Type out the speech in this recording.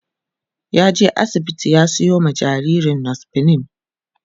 ya je asibiti ya Sayo ma jinjirin nospamin